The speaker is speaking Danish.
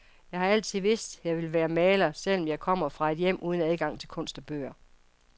Jeg har altid vidst, jeg ville være maler, selv om jeg kommer fra et hjem uden adgang til kunst og bøger.